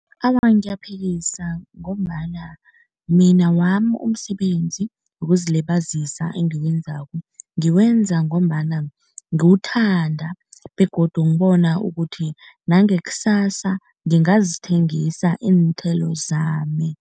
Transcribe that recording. Awa, ngiyaphikisa ngombana mina wami umsebenzi wokuzilibazisa engiwenzako ngiwenza ngombana ngiwuthanda begodu ngibona ukuthi nangekusasa ngingazithengisa iinthelo zami.